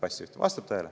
Vastab tõele?